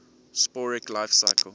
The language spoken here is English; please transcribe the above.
'sporic life cycle